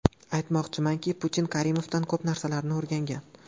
Aytmoqchimanki, Putin Karimovdan ko‘p narsalarni o‘rgangan.